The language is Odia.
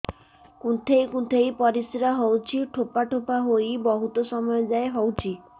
କୁନ୍ଥେଇ କୁନ୍ଥେଇ ପରିଶ୍ରା ହଉଛି ଠୋପା ଠୋପା ହେଇ ବହୁତ ସମୟ ଯାଏ ହଉଛି